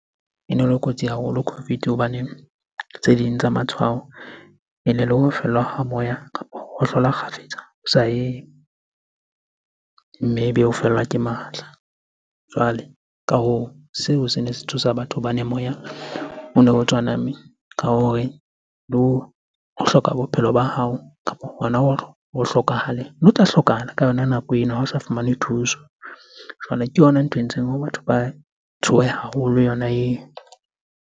Ene le kotsi haholo COVID hobaneng tse ding tsa matshwao ene le ho fellwa ha moya kapa ho hohlola kgafetsa o sa eme. Maybe o fellwa ke matla. Jwale ka hoo, seo sene se tshosa batho hobane moya ono o tswa nameng ka hore bo, ho hloka bophelo ba hao kapa hona ho hlokahaleng. Ne o tla hlokahala ka yona nako eno ha o sa fumane thuso. Jwale ke yona ntho e entseng hore batho ba tshohe haholo yona eo.